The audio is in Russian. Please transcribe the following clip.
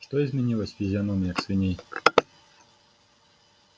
что изменилось в физиономиях свиней